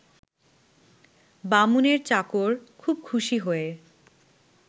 বামুনের চাকর খুব খুশি হয়ে